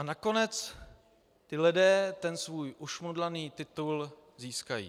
A nakonec ti lidé ten svůj ušmudlaný titul získají.